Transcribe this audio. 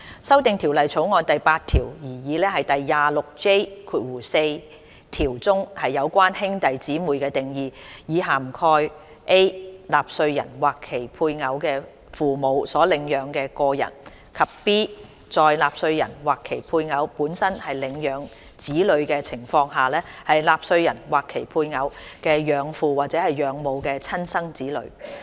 修訂《條例草案》第8條，擬議第 26J4 條中，有關兄弟姊妹的定義，以涵蓋 a 納稅人或其配偶的父母所領養的個人；及 b 在納稅人或其配偶本身是領養子女的情況下，納稅人或其配偶的養父或養母的親生子女。